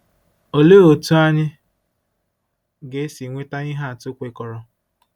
Olee otú anyị ga-esi nweta ihe atụ kwekọrọ?